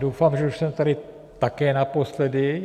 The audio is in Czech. Doufám, že už jsem tady také naposledy.